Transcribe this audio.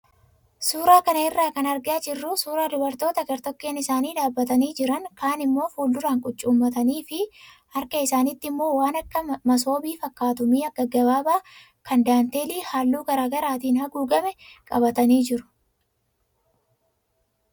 Suuraa kana irraa kan argaa jirru suuraa dubartootaa gartokkeen isaanii dhaabbatanii jiran kaan immoo fuulduraan qucuummatanii fi harka isaaniitii immoo waan akka masoobii fakkaatu mi'a gaggabaabaa kan daanteelii halluu garaagaraatiin haguugame qabatanii jiru.